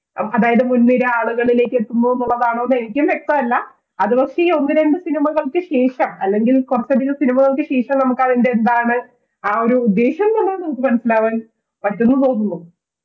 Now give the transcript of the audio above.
അതായത് മുൻനിര ആളുകളിലേക്ക് എത്തുന്നു എന്നുള്ളതാണോ എനിക്കും വ്യക്തമല്ല അതു പക്ഷേ ഈ ഒന്നുരണ്ട് cinema കൾക്ക് ശേഷം അല്ലെങ്കിൽ കുറച്ച് അധികം cinema കൾക്ക് ശേഷം നമുക്ക് അതിന്റെ എന്താണ് ആ ഒരു ഉദ്ദേശം എന്നു മനസ്സിലാവാൻ പറ്റുവോന്ന് തോന്നുന്നു